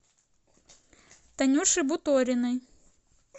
танюше буториной